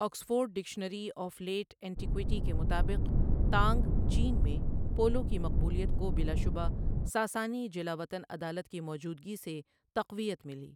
Oxford dictionary of late antiquity کے مطابق، Tang چین میں پولو کی مقبولیت کو 'بلاشبہ ساسانی جلاوطن عدالت کی موجودگی سے تقویت ملی'۔